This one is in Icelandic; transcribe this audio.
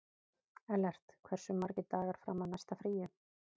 Ellert, hversu margir dagar fram að næsta fríi?